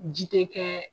Ji tɛ kɛ